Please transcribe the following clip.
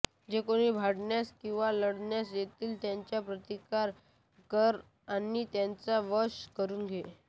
जे कोणी भांडण्यास किंवा लढण्यास येतील त्यांचा प्रतिकार कर आणि त्यांना वश करून घे